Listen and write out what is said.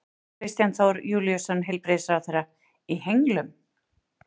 Kristján Þór Júlíusson, heilbrigðisráðherra: Í henglum?